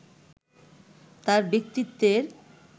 তাঁর ব্যক্তিত্বের